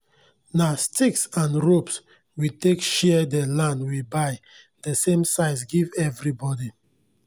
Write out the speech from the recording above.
nah sticks and ropes we take share dey land we buy dey same size give everi bodi